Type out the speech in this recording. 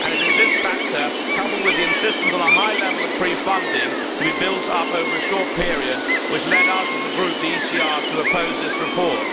It is this factor, coupled with the insistence on a high level of pre funding to be built up over a short period which led us as a Group, the ECR, to oppose this report.